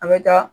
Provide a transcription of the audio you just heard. A bɛ taa